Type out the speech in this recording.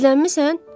Gizlənmisən?